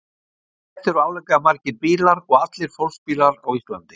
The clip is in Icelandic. Þetta eru álíka margir bílar og allir fólksbílar á Íslandi.